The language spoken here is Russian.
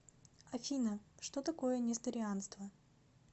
афина что такое несторианство